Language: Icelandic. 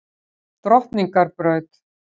Drottningarbraut